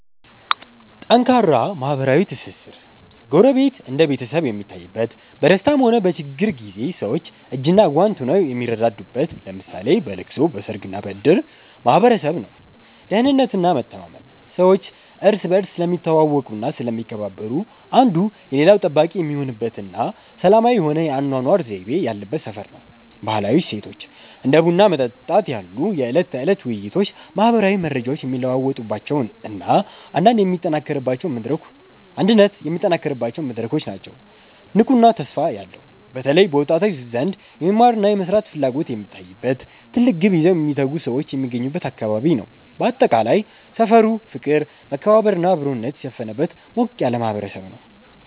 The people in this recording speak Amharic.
ጠንካራ ማህበራዊ ትስስር፦ ጎረቤት እንደ ቤተሰብ የሚታይበት፣ በደስታም ሆነ በችግር ጊዜ ሰዎች እጅና ጓንት ሆነው የሚረዳዱበት (ለምሳሌ በለቅሶ፣ በሰርግና በእድር) ማህበረሰብ ነው። ደህንነትና መተማመን፦ ሰዎች እርስ በርስ ስለሚተዋወቁና ስለሚከባበሩ፣ አንዱ የሌላው ጠባቂ የሚሆንበትና ሰላማዊ የሆነ የአኗኗር ዘይቤ ያለበት ሰፈር ነው። ባህላዊ እሴቶች፦ እንደ ቡና መጠጣት ያሉ የዕለት ተዕለት ውይይቶች ማህበራዊ መረጃዎች የሚለዋወጡባቸውና አንድነት የሚጠናከርባቸው መድረኮች ናቸው። ንቁና ተስፋ ያለው፦ በተለይ በወጣቶች ዘንድ የመማርና የመስራት ፍላጎት የሚታይበት፣ ትልቅ ግብ ይዘው የሚተጉ ሰዎች የሚገኙበት አካባቢ ነው። ባጠቃላይ፣ ሰፈሩ ፍቅር፣ መከባበርና አብሮነት የሰፈነበት ሞቅ ያለ ማህበረሰብ ነው።